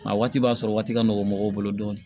A waati b'a sɔrɔ waati ka nɔgɔn mɔgɔw bolo dɔɔnin